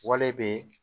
be yen